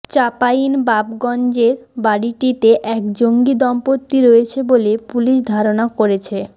চাপাইনবাবগঞ্জের বাড়িটিতে এক জঙ্গি দম্পতি রয়েছে বলে পুলিশ ধারণা করছে